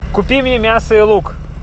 купи мне мясо и лук